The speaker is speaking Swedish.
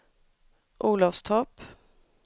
Olofstorp